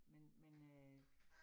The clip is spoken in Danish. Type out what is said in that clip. Men men øh